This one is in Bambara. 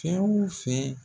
Fɛn o fɛn